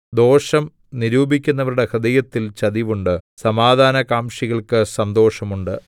ദോഷം നിരൂപിക്കുന്നവരുടെ ഹൃദയത്തിൽ ചതിവ് ഉണ്ട് സമാധാനകാംക്ഷികൾക്ക് സന്തോഷം ഉണ്ട്